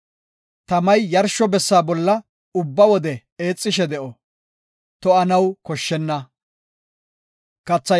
Tamay yarsho bessa bolla ubba wode eexishe de7o; to7anaw koshshenna.